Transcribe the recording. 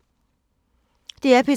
DR P3